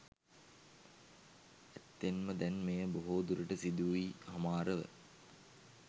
ඇත්තෙන්ම දැන් මෙය බොහෝ දුරට සිදුවී හමාරව